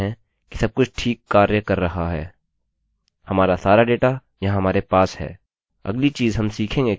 हमारा सारा डेटा यहाँ हमारे पास है